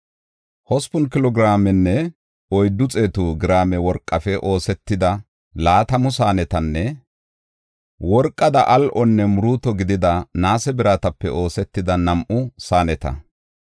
hospun kilo giraamenne oyddu xeetu giraame worqafe oosetida laatamu saanetanne worqada al7onne muruuto gidida naase biratape oosetida nam7u saaneta.